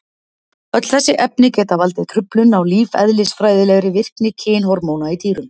Öll þessi efni geta valdið truflun á lífeðlisfræðilegri virkni kynhormóna í dýrum.